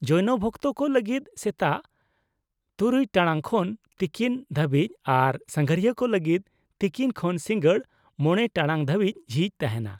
-ᱡᱳᱭᱱᱚ ᱵᱷᱚᱠᱛᱚ ᱠᱚ ᱞᱟᱹᱜᱤᱫ ᱥᱮᱛᱟᱜ ᱖ ᱴᱟᱲᱟᱝ ᱠᱷᱚᱱ ᱛᱤᱠᱤᱱ ᱫᱷᱟᱹᱵᱤᱡ ᱟᱨ ᱥᱟᱸᱜᱷᱟᱨᱤᱭᱟᱹ ᱠᱚ ᱞᱟᱹᱜᱤᱫ ᱛᱤᱠᱤᱱ ᱠᱷᱚᱱ ᱥᱤᱸᱜᱟᱹᱲ ᱕ ᱴᱟᱲᱟᱝ ᱫᱷᱟᱹᱵᱤᱡ ᱡᱷᱤᱡ ᱛᱟᱦᱮᱸᱱᱟ ᱾